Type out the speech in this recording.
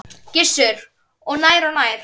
Gissur: Og nær og nær?